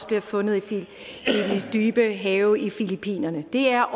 bliver fundet i de dybe have omkring filippinerne det er